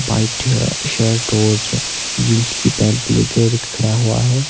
White shirt और jeans की pant लेकर खड़ा हुआ है।